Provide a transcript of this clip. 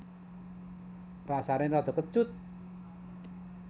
Rasané rada kecut